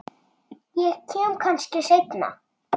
Ég kem kannski seinna